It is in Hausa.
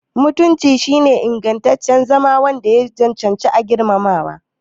Mutunci shine ingancin zama wanda ya cancanci girmamawa.